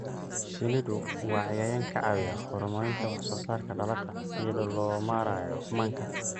Shinnidu waa cayayaan ka caawiya horumarinta wax soo saarka dalagga iyada oo loo marayo manka.